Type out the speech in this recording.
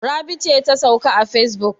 Rabi ce ta sauka a facebook?